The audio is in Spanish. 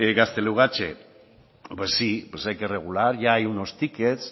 gaztelugatxe pues sí hay que regular ya hay unos tickets